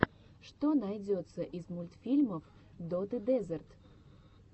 что найдется из мультфильмов доты дезерт